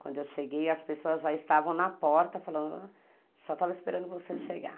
Quando eu cheguei, as pessoas já estavam na porta, falando, só estava esperando você chegar.